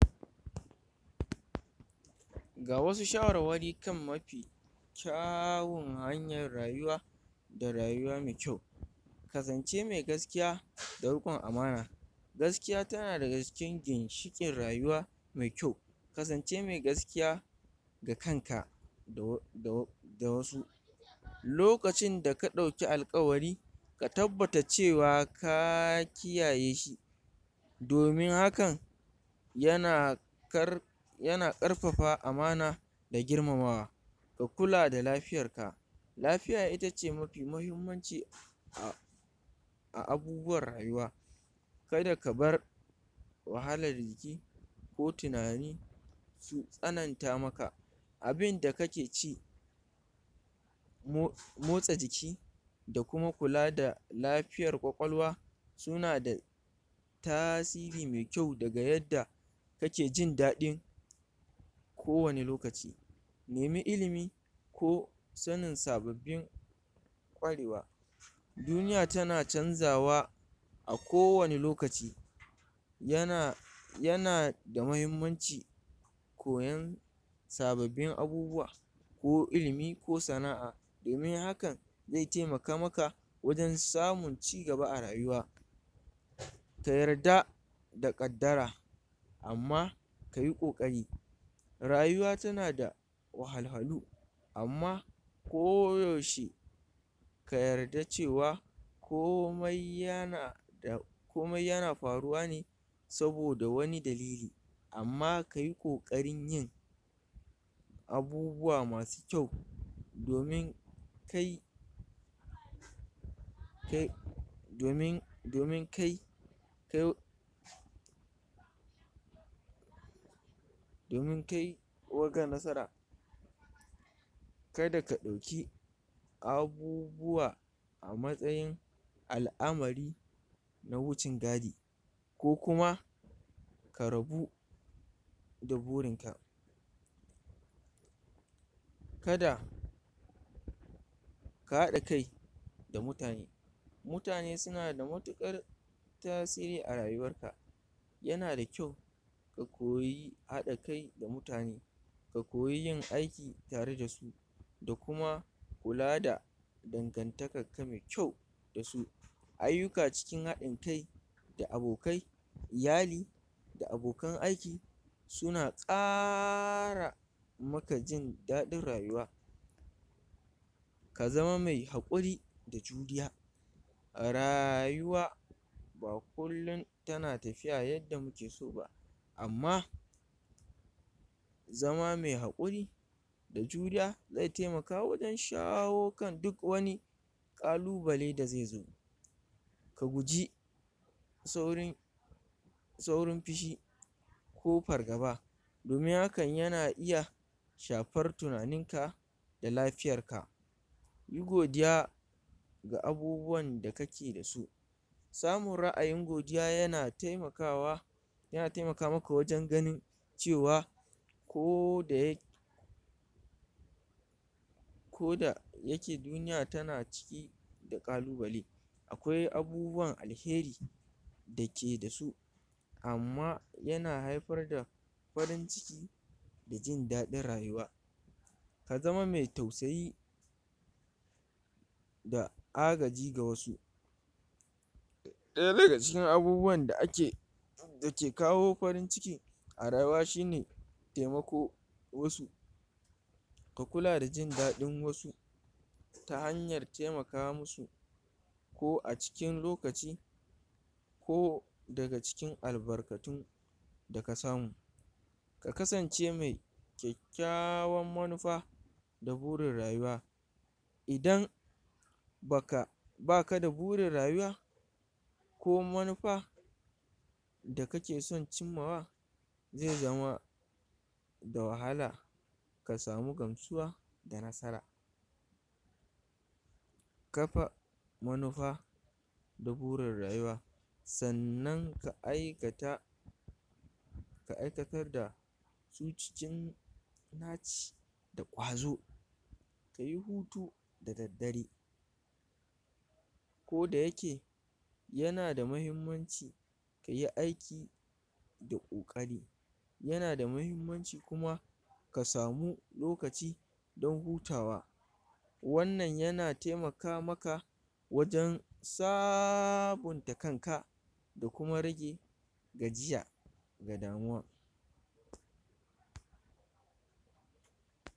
Ga wasu shawarwari kan mafi kyawun hanyar rayuwa da rayuwa me kyau, kasance me gaskiya da riƙon amana, gaskiya tana daga cikin ginshiƙin rayuwa me kyau, kasance me gaskiya ga kanaka da da da wasu, lokacinda ka ɗauki alƙawari ka tabbata cewa ka kiyaye shi, domin hakan yana kar yana ƙarfafa amana da girmamawa, ka kula da lafiyarka lafiya ita ce mafi mahimmanci a a abubuwan rayuwa, kada ka bar wahalar jiki ko tinani tsananta maka, abinda kake ci mo motsa jiki, da kuma kula da lafiyar ƙwaƙwalwa, suna da tasiri me kyau daga yadda kake jin daɗin kowane lokaci, nemi ilimi ko sanin sababbin ƙwarewa, duniya tana canzawa a kowane lokaci, yana yana da muhimmanci koyan sababbin abubuwa, ko ilimi ko sana'a domin hakan ze temaka maka wajen samun cigaba a rayuwa, ta yarda da ƙaddara, amma kayi ƙoƙari rayuwa tana da wahalhalu amma ko yaushe ka yarda cewa komai yana da komai yana faruwa ne saboda wani dalili, amma kayi ƙoƙarin yin abubuwa masu kyau domin kai kai domin domin kai kai domin kai o kai nasara, kada ka ɗauki abubuwa matsayin al'amari na wucin gadi, ko kuma ka rabu da burinka, kada ka haɗa kai da mutane, mutane suna da matuƙar tasiri a rayuwarka, yana da kyau ka koyi haɗa kai da mutane ka koyi yin aiki tare da su, da kuma kula da dangantakakka me kyau da su. Ayyuka cikin haɗin kai da abokai, iyali da abokan aiki, suna ƙara maka jin daɗin rayuwa, ka zama mai haƙurri da juriya a rayuwa, ba kullin tana tafiya yadda muke so ba, amma zama me haƙuri da juriya zai taimaka wajen shawo kan duk wani ƙalubale da ze zo, ka guji saurin saurin fishi ko fargaba, domin hakan yana iya shafar tunaninka, da lafiyarka, yi godiya ga abubuwanda kake da su, samun ra'ayin godiya yana taimakawa yana temaka maka wajen ganin cewa koda ya kodayake duniya tana ciki da ƙalubale, akwai abubuwan alheri da keda su, amma yana haifar da farin ciki da jin daɗin rayuwa, ka zama me tausayi da agaji ga wasu, ɗaya daga cikin abubuwanda ake dake kawo farin ciki a rayuwa shine temako wasu, ka kula da jin daɗin wasu ta hanyar temaka musu, ko a cikin lokaci ko daga cikin albarkatun da ka samu, ka kasance me kyakkyawan manufa da burin rayuwa, idan baka baka da burin rayuwa ko manufa da kake son cimmawa, ze zama da wahala ka samu gamsuwa da nasara. Kafa manufa da burin rayuwa sannan ka aikata ka iakatar da su cikin naci da ƙwazo kayi hutu da daddare, kodayake yana da muhimmanci kayi aiki da ƙoƙari, yana da muhimmanci kuma ka samu lokaci dan hutawa, wannan yana temaka maka wajen sabunta kanka da kuma rage gajiya ga damuwa.